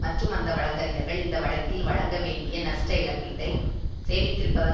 மற்றும் அந்த வழக்கறிஞர்கள் இந்த வழக்கில் வழங்க வேண்டிய நஸ்டஇழப்பீட்டை சேமித்திருப்பதன்